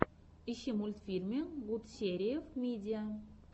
ищи мультфильмы гутсериев мидиа